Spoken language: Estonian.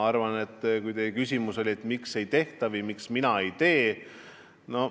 Teie küsimus oli, et miks ei tehta või miks mina ei tee.